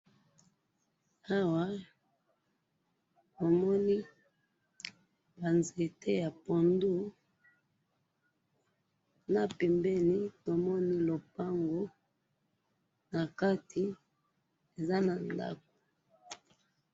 Awa na moni ba nzete ya pondu, na pembeni lupango eza na ndako.